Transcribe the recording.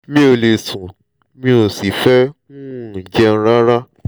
mi ò lè sùn mi ò sì fẹ́ um jẹun rárá